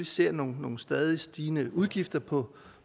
ser nogle nogle stadig stigende udgifter på